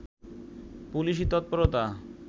পুলিশি তৎপরতা